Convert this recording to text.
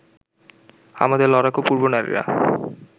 আমাদের লড়াকু পূর্বনারীরা